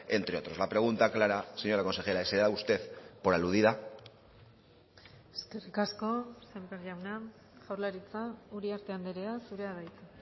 entre otros la pregunta clara señora consejera se da usted por aludida eskerrik asko sémper jauna jaurlaritza uriarte andrea zurea da hitza